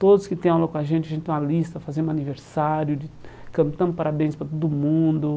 Todos que têm aula com a gente, a gente tem uma lista, fazemos aniversário de, cantamos parabéns para todo mundo.